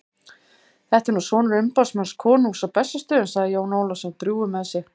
Þetta er nú sonur umboðsmanns konungs á Bessastöðum, sagði Jón Ólafsson drjúgur með sig.